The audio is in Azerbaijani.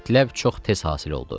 Mətləb çox tez hasil oldu.